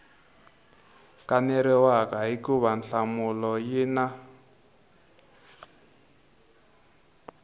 kaneriwaka hikuva nhlamulo yi na